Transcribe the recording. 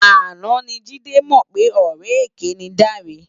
Áná ni Jide mò pè òrè ëké ni Dare